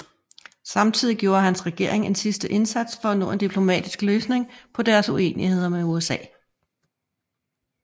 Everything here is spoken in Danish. Samtidig gjorde hans regering en sidste indsats for at nå en diplomatisk løsning på deres uenigheder med USA